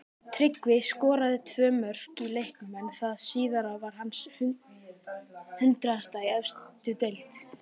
Tryggvi skoraði tvö mörk í leiknum en það síðara var hans hundraðasta í efstu deild.